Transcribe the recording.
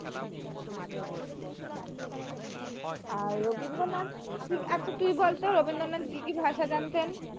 আর রবীন্দ্রনাথ আচ্ছা তুই বল তো রবীন্দ্রনাথ কি কি ভাষা জানতেন